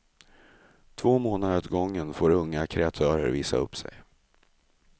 Två månader åt gången får unga kreatörer visa upp sig.